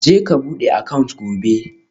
Je ka bude account gobe